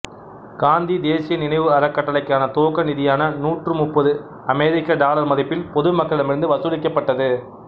காந்தி தேசிய நினைவு அறக்கட்டளைக்கான துவக்க நிதியான நூற்றி முப்பது அமெரிக்க டாலர் மதிப்பில் பொது மக்களிடமிருந்து வசூலிக்கப்பட்டது